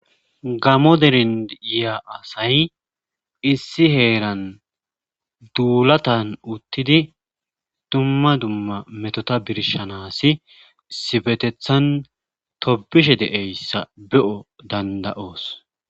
Gamo derind iya asay issi heeran duulatan uttidi dumma dumma metota birshanasi sifetethan tobishe de'eyssa be'o danda'oos.